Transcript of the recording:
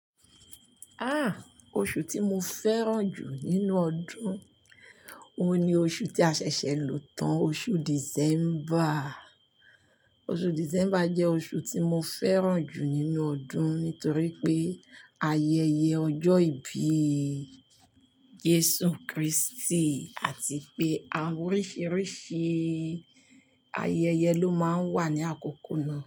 Ah! Oṣù tí mo fẹ́ràn jù nínú ọdún, òun ni oṣù tí a ṣẹ̀ṣẹ̀ ń lọ tán, oṣù December. Oṣù December jẹ́ oṣù tí mo fẹ́ràn jù nínú ọdún nítorí pé ayẹyẹ ọjọ́ ìbí Jesu Kristi àti pé àwọn oríṣiríṣi ayẹyẹ ló máa ń wà ní àkókò náà.